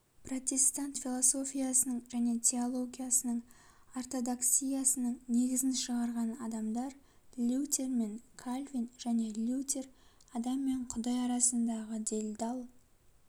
протестант философиясының және теологиясының ортодоксиясыңың негізін шығарған адамдар лютер мен кальвин және лютер адам мен құдай арасындағы делдал